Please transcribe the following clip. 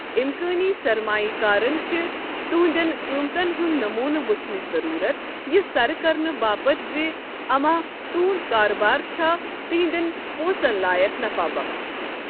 اِمکٲنی سرمایہ كارن چھےٚ تُہندنِٛ قٕمتن ہُند نموٗنہٕ وُچھنٕچہِ ضروُرت یہِ سرٕ كرنہٕ باپت زِ اما تُہند كاربار چھا تہندین پونسن لایكھ نفا بخش ۔